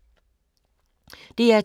DR2